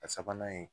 A sabanan ye